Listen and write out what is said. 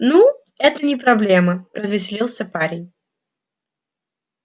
ну это не проблема развеселился парень